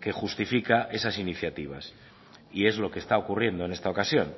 que justifica esas iniciativas y es lo que está ocurriendo en esta ocasión